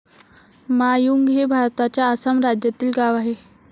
मा यूंग हे भारताच्या आसाम राज्यातील गाव आहे